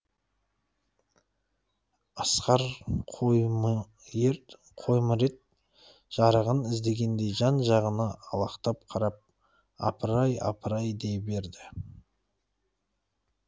асқар қоймырет жарығын іздегендей жан жағына алақтап қарап апыр ай апыр ай дей берді